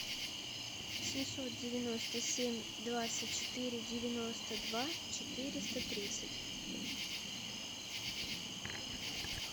семьсот девяносто семь двадцать четыре девяносто два четыреста тридцать